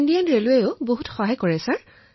তাৰ লগতে ভাৰতীয় ৰেলৱেও খুব সহায় কৰিছে